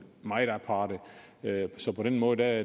meget aparte så på den måde er